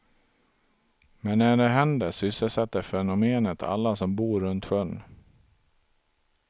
Men när det händer sysselsätter fenomenet alla som bor runt sjön.